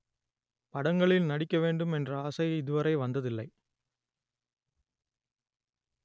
படங்களில் நடிக்க வேண்டும் என்ற ஆசை இதுவரை வந்ததில்லை